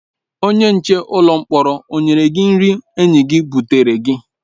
Onye nche ụlọ mkpọrọ o nyere gị nri anyị butere gị?